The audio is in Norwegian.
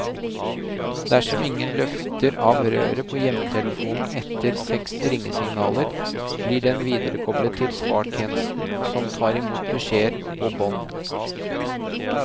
Dersom ingen løfter av røret på hjemmetelefonen etter seks ringesignaler, blir den viderekoblet til svartjenesten, som tar i mot beskjeder på bånd.